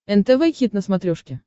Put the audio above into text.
нтв хит на смотрешке